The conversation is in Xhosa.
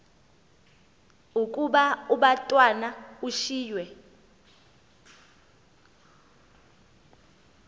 ukuba umatwana ushiywe